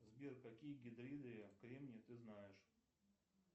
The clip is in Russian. сбер какие гидриды кремния ты знаешь